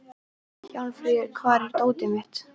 Hjálmfríður, hvar er dótið mitt?